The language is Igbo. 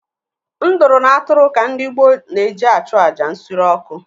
Nduru na atụrụ ka ndị gboo na-eji achụ àjà nsure ọkụ.